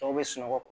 Tɔw bɛ sunɔgɔ